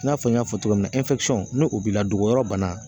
I n'a fɔ n y'a fɔ cogo min na n'o b'i la dogoyɔrɔ bana